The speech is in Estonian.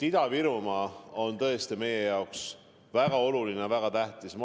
Ida-Virumaa on tõesti meie jaoks väga oluline, väga tähtis.